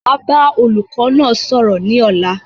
Máa bá olùkọ́ náà sọ̀rọ̀ ni ọ̀la